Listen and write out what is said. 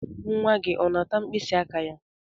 Nwa gị ọ na-ata mkpịsị aka ya?